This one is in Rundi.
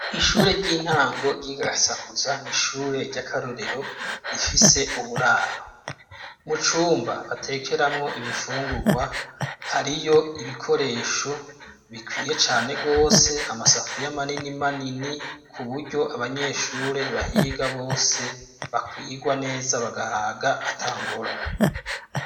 Ishure ry'intango ry'i Gasakuza n'ishure ry'akarorero rifise uburaro. Mu cumba batekeramwo ibifungurwa hariyo ibikoresho bikwiye cane gose amasafuriya manini manini kuburyo abanyeshure bahiga bose bakwigwa neza bagahaga ata ngorane.